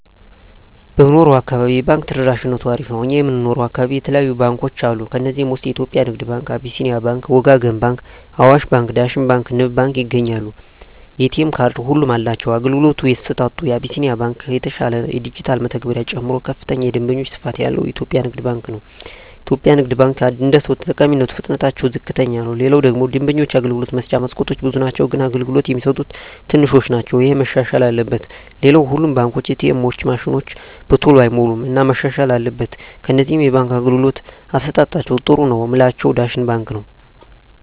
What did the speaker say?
በምንኖረው አካባቢ የባንክ ተደራሽነቱ አሪፍ ነው እኛ የምንኖረው አካባቢ የተለያዩ ባንኮች አሉ ከዚህ ውስጥ የኢትዮጵያ ንግድ ባንክ አቢስኒያ ባንክ ወጋገን ባንክ አዋሽ ባንክ ዳሽን ባንክ ንብ ባንክ ይገኛሉ የኤ.ቴ ካርድ ሁሉም አላቸው የአገልግሎቱ አሰጣጡ አቢስኒያ የተሻለ ነው የዲጅታል መተግበሪያ ጨምሮ ከፍተኛ የደንበኛ ስፋት ያለው ኢትዮጵያ ንግድ ባንክ ነው የኢትዮጵያ ንግድ ባንክ አደሰው ተጠቃሚነቱ ፍጥነትታቸው ዝቅተኛ ነው ሌላው ደግሞ የደንበኞች የአገልግሎት መስጫ መስኮቶች ብዙ ናቸው ግን አገልግሎት የሚሰጡት ትንሾች ናቸው እሄ መሻሻል አለበት ሌላው ሁሉም ባንኮች ኤ. ቴኤማቸው ማሽኖች በተሎ አይሞሉም እና መሻሻል አትበል ከነዚህ የባንክ አገልግሎት አሠጣጣቸዉ ጥሩ ነው ምላቸውን ዳሽን ባንክን ነዉ